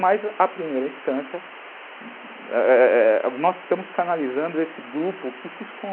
Mas, à primeira instância, é é nós estamos canalizando esse grupo que se esconde.